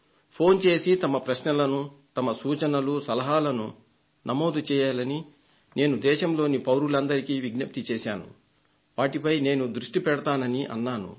phone చేసి తమ ప్రశ్నలను తమ సూచనలు సలహాలను నమోదు చేయాలని దేశంలోని పౌరులందరికీ నేను విజ్ప్తి చేశాను వాటిపై దృష్టి పెడతానని అన్నాను